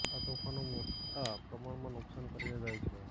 આ તોફાનો મોટા પ્રમાણમાં નુક્સાન કરીને જાય છે